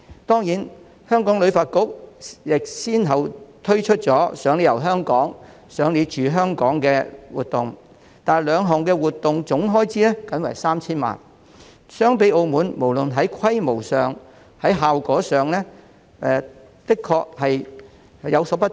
當然，香港旅發局亦先後推出了"賞你遊香港"及"賞你住"活動，但總開支僅為 3,000 萬元，不論在規模或效果上也的確比澳門不足。